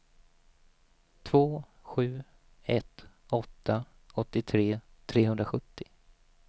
två sju ett åtta åttiotre trehundrasjuttio